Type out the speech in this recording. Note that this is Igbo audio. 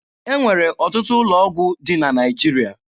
E nwere ọtụtụ ụlọ ọgwụ dị na Naịjirịa.